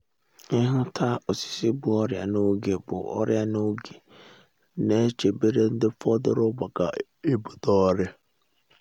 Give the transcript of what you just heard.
ịhụ ta osisi bu ọrịa na’oge bu ọrịa na’oge ne chebere ndị fọdụrụ maka ebute oria